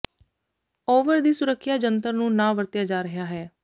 over ਦੀ ਸੁਰੱਖਿਆ ਜੰਤਰ ਨੂੰ ਨਾ ਵਰਤਿਆ ਜਾ ਰਿਹਾ ਹੈ